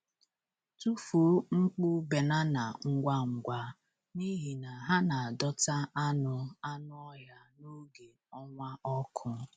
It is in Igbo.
Tụfuo nkpụ banana ngwa ngwa, n’ihi na ha na-adọta anụ anụ ọhịa n’oge ọnwa ọkụ.